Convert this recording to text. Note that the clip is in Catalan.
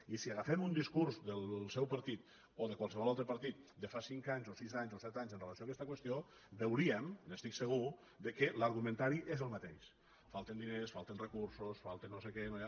i si agafem un discurs del seu partit o de qual·sevol altre partit de fa cinc anys o sis anys o set anys amb relació a aquesta qüestió veuríem n’estic segur que l’argumentari és el mateix falten diners falten re·cursos falta no sé què no hi ha